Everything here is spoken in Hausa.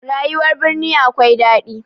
Rayuwar birni akwai daɗi